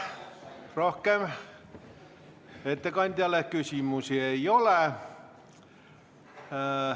Rohkem ettekandjale küsimusi ei ole.